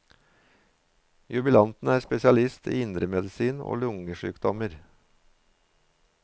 Jubilanten er spesialist i indremedisin og lungesykdommer.